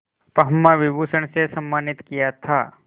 पद्म विभूषण से सम्मानित किया था